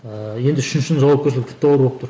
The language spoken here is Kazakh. ыыы үшіншісінің жауапкершілігі тіпті ауыр болып тұр